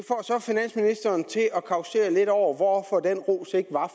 så finansministeren til at causere lidt over hvorfor den ros ikke var